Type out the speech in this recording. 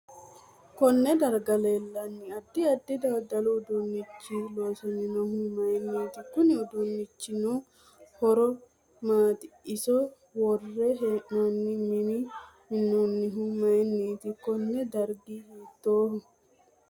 KOnne darga leelanni addi addi dadalu uduunichi loosaminohu mayiiniti kunni uduunichinaano horo maati iso worre heenooni mini minaminohu mayiiniti koni dargi hiitooho